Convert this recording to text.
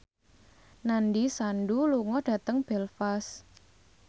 Nandish Sandhu lunga dhateng Belfast